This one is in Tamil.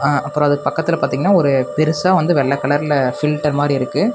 அ அப்பறோ அதுக்கு பக்கத்துல பாத்திங்கன்னா ஒரு பெருசா வந்து வெள்ள கலர்ல ஃபில்டர் மாரி இருக்கு.